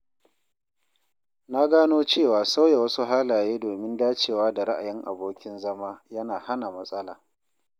Na gano cewa sauya wasu halaye domin dacewa da ra'ayin abokin zama yana hana matsala.